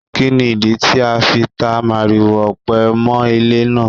Kí ni ìdí tí a fi ta màrìwò ọ̀pẹ mọ́ ilé náà?